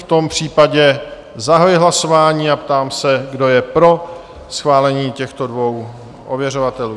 V tom případě zahajuji hlasování a ptám se, kdo je pro schválení těchto dvou ověřovatelů?